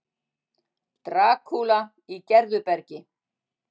Drakúla í Gerðubergi